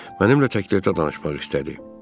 Mənimlə təktəkdə danışmaq istədi.